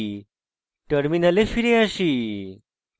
terminal ফিরে আসি